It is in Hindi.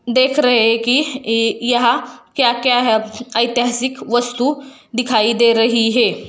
देख रहे है कि ई यहाॅं क्या-क्या है? ऐतिहासिक वस्तु दिखाई दे रही है।